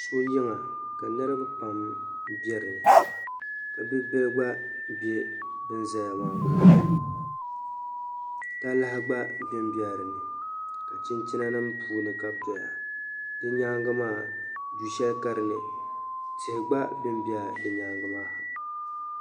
So yiŋa ka niriba pam be dinni ka bi'bila gba be ban zaya maa puuni talahi gba ben bɛla dinni chinchinanima puuni ka be doya di nyaaŋa maa du'shɛli ka dinni tihi gba ben bɛla di nyaaŋa maa ha.